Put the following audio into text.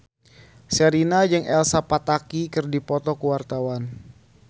Sherina jeung Elsa Pataky keur dipoto ku wartawan